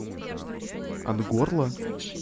от горла